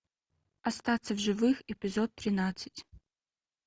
остаться в живых эпизод тринадцать